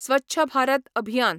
स्वच्छ Bharat अभियान